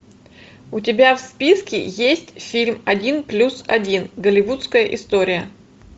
у тебя в списке есть фильм один плюс один голливудская история